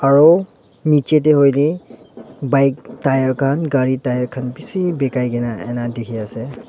aru nichey tae hoiley bike tyre khan gari tyre khan bishi bekai an ena dekhi ase.